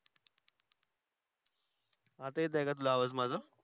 आता येत आहे का तुला आवाज माझा